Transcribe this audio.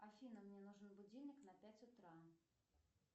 афина мне нужен будильник на пять утра